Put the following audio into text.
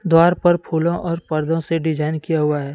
द्वार पर फूलों और पर्दों से डिजाइन किया हुआ है।